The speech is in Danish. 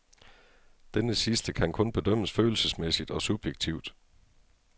Denne sidste kan kun bedømmes følelsesmæssigt og subjektivt.